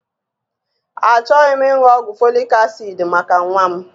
Achọghị m ịṅụ ọgwụ folik asid maka nwa m.